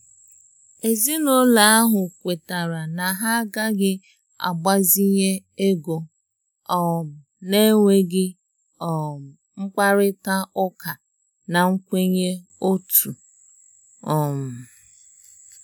Ezinúlọ̀ ahụ̀ kwètàrà na ha agàghi agbazínye égò um na-ènwèghi um mkpárịtà ụ́kà na nkwènyé òtù. um